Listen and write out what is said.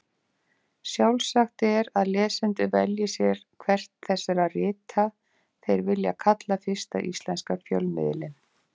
Sjálfsagt er að lesendur velji sér hvert þessara rita þeir vilja kalla fyrsta íslenska fjölmiðilinn.